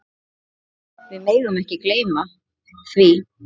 Við megum ekki gleyma því.